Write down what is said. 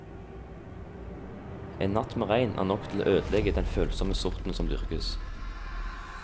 En natt med regn er nok til å ødelegge den følsomme sorten som dyrkes.